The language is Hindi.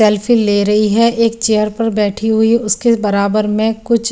सेल्फी ले रही हे एक चेयर पर बैठी हुई है उसके बराबर में कुछ --